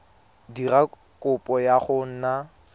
dira kopo ya go nna